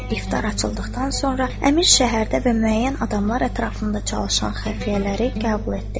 İftar açıldıqdan sonra Əmir şəhərdə və müəyyən adamlar ətrafında çalışan xəfiyyələri qəbul etdi.